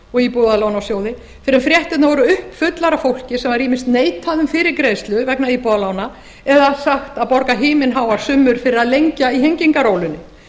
og íbúðalánasjóði fyrr en fréttirnar voru uppfullar af fólki sem var ýmist neitað um fyrirgreiðslu vegna íbúðarlána eða sagt að borga himinháar summur fyrir að lengja í hengingarólinni